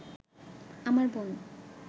আমার বোন